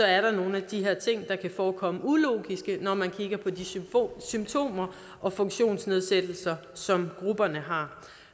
er nogle af de her ting der kan forekomme ulogiske når man kigger på de symptomer og funktionsnedsættelser som grupperne har